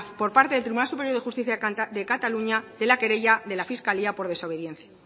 por parte del tribunal superior de justicia de cataluña de la querella de la fiscalía por desobediencia